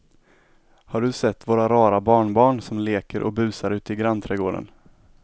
Har du sett våra rara barnbarn som leker och busar ute i grannträdgården!